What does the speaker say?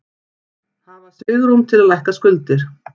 Hafa svigrúm til að lækka skuldir